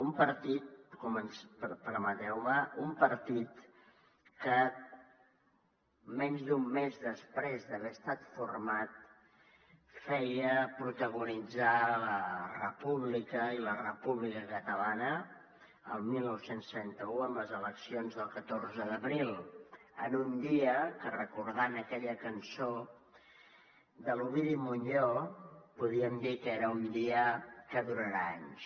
un partit permeteu me un partit que menys d’un mes després d’haver estat format feia protagonitzar la república i la república catalana el dinou trenta u en les eleccions del catorze d’abril en un dia que recordant aquella cançó de l’ovidi montllor podríem dir que era un dia que durarà anys